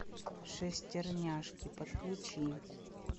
шестерняшки подключи